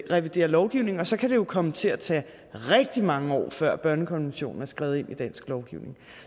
reviderer lovgivning og så kan det jo komme til at tage rigtig mange år før børnekonventionen er skrevet ind i dansk lovgivning